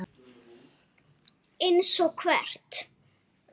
Hún lést í hárri elli.